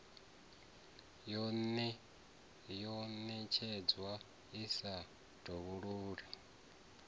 yo ṋetshedzwaho i sa dovhololi